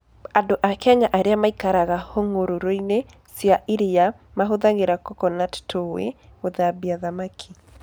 Andũ a Kenya arĩa maikaraga hũgũrũrũ-inĩ cia iria mahũthagĩra coconut tui gũthambia thamaki.